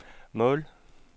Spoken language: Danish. mål